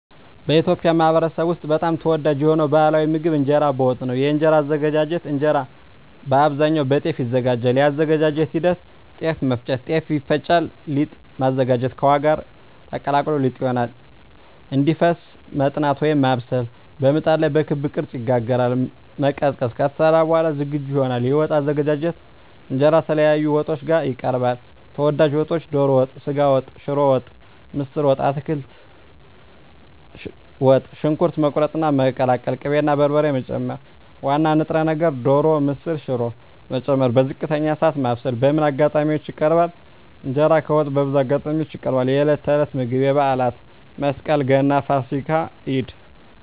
በኢትዮጵያ ማኅበረሰብ ውስጥ በጣም ተወዳጅ የሆነው ባሕላዊ ምግብ እንጀራ በወጥ ነው። የእንጀራ አዘገጃጀት እንጀራ በአብዛኛው ከጤፍ ይዘጋጃል። የአዘገጃጀት ሂደት ጤፍ መፍጨት – ጤፍ ይፈጫል ሊጥ ማዘጋጀት – ከውሃ ጋር ተቀላቅሎ ሊጥ ይሆናል እንዲፈስ መጥናት (ማብሰል) – በምጣድ ላይ በክብ ቅርጽ ይጋገራል መቀዝቀዝ – ከተሰራ በኋላ ዝግጁ ይሆናል የወጥ አዘገጃጀት እንጀራ ከተለያዩ ወጦች ጋር ይቀርባል። ተወዳጅ ወጦች ዶሮ ወጥ ስጋ ወጥ ሽሮ ወጥ ምስር ወጥ አትክልት ወጥ . ሽንኩርት መቁረጥና መቀቀል ቅቤ እና በርበሬ መጨመር ዋና ንጥረ ነገር (ዶሮ፣ ምስር፣ ሽሮ…) መጨመር በዝቅተኛ እሳት ማብሰል በምን አጋጣሚዎች ይቀርባል? እንጀራ ከወጥ በብዙ አጋጣሚዎች ይቀርባል፦ የዕለት ተዕለት ምግብ የበዓላት (መስቀል፣ ገና፣ ፋሲካ፣ ኢድ)